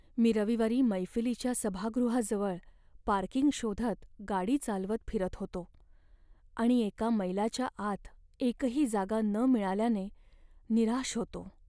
मी रविवारी मैफिलीच्या सभागृहाजवळ पार्किंग शोधत गाडी चालवत फिरत होतो आणि एका मैलाच्या आत एकही जागा न मिळाल्याने निराश होतो.